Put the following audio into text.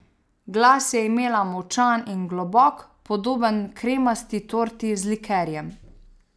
Glas je imela močan in globok, podoben kremasti torti z likerjem.